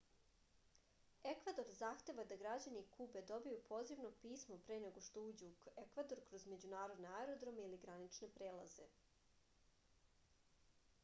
ekvador zahteva da građani kube dobiju pozivno pismo pre nego što uđu u ekvador kroz međunarodne aerodrome ili granične prelaze